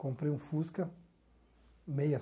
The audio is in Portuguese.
Comprei um Fusca meia